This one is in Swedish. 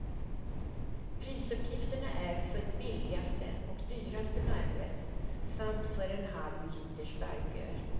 Prisuppgifterna är för billigaste och dyraste varmrätt samt för en halv liter starköl.